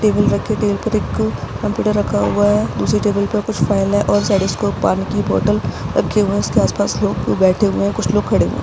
Table रखा हुआ है टेबल पर एक कंप्यूटर रखा हुआ है दूसरे टेबल पर कुछ फाइल है और उसके ऊपर पानी के बोतल रखा हुआ है उसके आस-पास लोग बैठे हुए हैं कुछ लोग खड़े हुए हैं।